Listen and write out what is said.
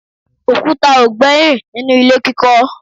òkúta ò gbẹ́yìn nínú ilé kíkọ́